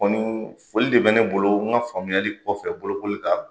o ni foli de bɛ ne bolo n ka faamuyali kɔfɛ bolokoli kan.